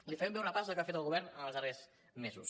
li faré un breu repàs del que ha fet el govern en els darrers mesos